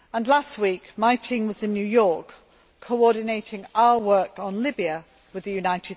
Last week my team was in New York, coordinating our work on Libya with the UN.